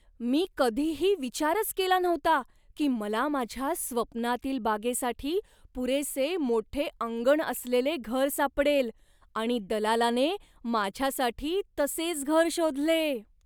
मी कधीही विचारच केला नव्हता की मला माझ्या स्वप्नातील बागेसाठी पुरेसे मोठे अंगण असलेले घर सापडेल आणि दलालाने माझ्यासाठी तसेच घर शोधले!